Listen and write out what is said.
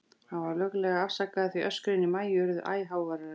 Hann var löglega afsakaður, því öskrin í Maju urðu æ háværari.